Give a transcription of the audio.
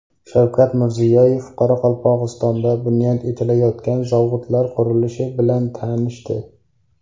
Shavkat Mirziyoyev Qoraqalpog‘istonda bunyod etilayotgan zavodlar qurilishi bilan tanishdi.